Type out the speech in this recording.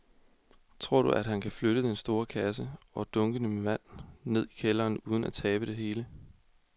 Tror du, at han kan flytte den store kasse og dunkene med vand ned i kælderen uden at tabe det hele?